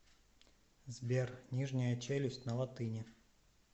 сбер нижняя челюсть на латыни